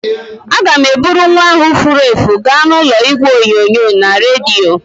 Aga m eburu nwa ahụ furu efu gaa n'ụlọ igwe onyonyo na redio.